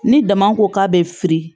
Ni dama ko k'a bɛ firi